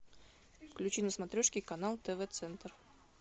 включи на смотрешке канал тв центр